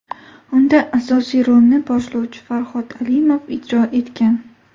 Unda asosiy rolni boshlovchi Farhod Alimov ijro etgan.